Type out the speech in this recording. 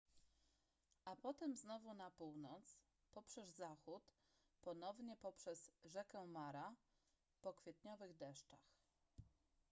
a potem znowu na północ poprzez zachód ponownie poprzez rzekę mara po kwietniowych deszczach